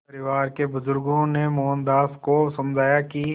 परिवार के बुज़ुर्गों ने मोहनदास को समझाया कि